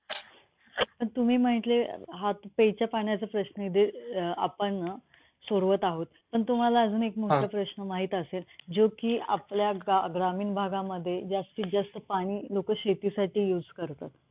तुम्ही म्हटले अं हा प्यायच्या पाण्याचा प्रश्न आहे आपण अं सोडवत आहोत. पण तुम्हाला अजून एक महत्वाचा प्रश्न माहित असेल, जो कि आपल्या ग्रामीण भागामध्ये जास्तीत जास्त पाणी लोकं शेतीसाठी use करतात.